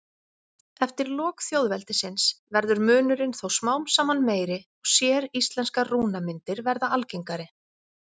Eftir lok þjóðveldisins verður munurinn þó smám saman meiri og séríslenskar rúnamyndir verða algengari.